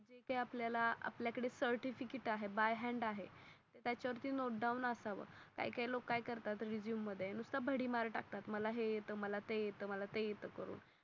जिथे आपल्या ला सर्टिफिकेट आहे बाय हॅन्ड आहे. त्या च्या वर नोट डाउन असाव. काही काही लोक काय करतात रेझूमे मध्ये नुसता भडीमार टाकता मला हे येत मला ते येत मला हेयेत करून.